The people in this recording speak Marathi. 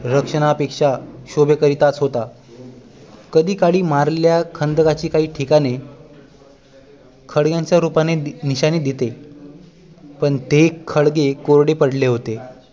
रक्षणा पेक्षा शोभे करिताच होता कधी काळी मारलेल्या खंदकांची काही ठिकाणे खळग्यांच्या रूपाने निशाणी दिसत होते पण ते खळगे कोरडे पडले होते